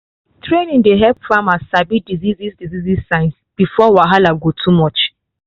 training dey help farmers sabi disease disease signs before the wahala go too much.